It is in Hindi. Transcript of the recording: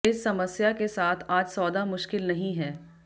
इस समस्या के साथ आज सौदा मुश्किल नहीं है